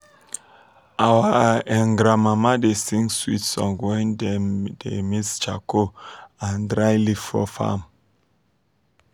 our um grandmama dem da sing swit song wen dem da mix charco and dry leave for fam